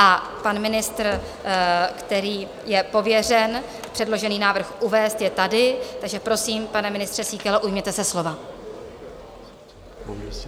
A pan ministr, který je pověřen předložený návrh uvést, je tady, takže prosím, pane ministře Síkelo, ujměte se slova.